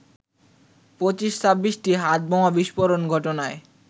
২৫-২৬টি হাতবোমার বিস্ফোরণ ঘটনায়